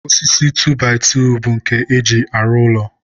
osisi 2by2 bụ nke e ji arụ ụlọ..